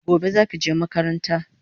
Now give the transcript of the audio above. Gobe zaki je makaranta